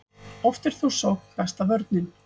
Oft er þó sókn besta vörnin.